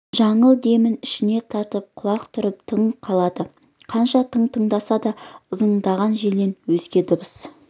жаңыл демін ішіне тартып құлақ түріп тына қалады қанша тың тыңдаса да ызыңдаған желден өзге дыбыс